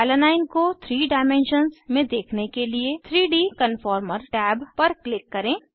alanine alanine को 3 dimensions में देखने के लिए 3डी कन्फॉर्मर टैब पर क्लिक करें